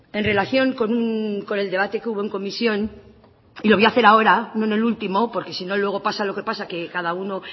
en relación con el debate que hubo en comisión y lo voy a hacer ahora no en el último porque si no luego pasa lo que pasa que cada uno